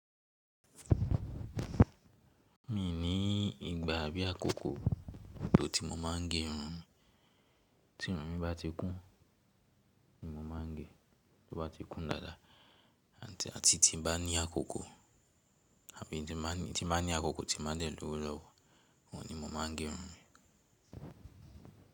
Mi ní ìgbà àbí àkókò tí mo ma ń gé irun, tí irun mi bá ti kún ni mo ma ń gé, tí ó bá ti kún dáda àti tí n bá ní àkókò àbí tí bá ní àkókò tí mo bá dẹ̀ lówó lọ́wọ́ ni mo ma ń gé irun mi.